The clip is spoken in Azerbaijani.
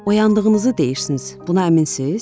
Oyandığınızı deyirsiniz, buna əminsiniz?